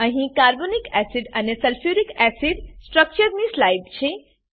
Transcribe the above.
અહી carbonic acid અને sulphuric acid structure ની સ્લાઈડ છે